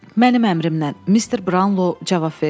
Mənim əmrimlə, Mister Brownlow cavab verdi.